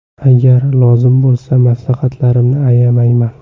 Agar lozim bo‘lsa – maslahatlarimni ayamayman.